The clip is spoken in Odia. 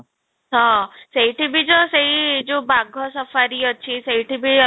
ହଁ, ସେଇଠି ବି ଯଉ ସେଇ ଯଉ ବାଘ safari ଅଛି, ସେଇଠି ବି ଆମେ